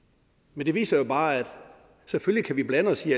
men det viser jo bare at selvfølgelig kan vi blande os i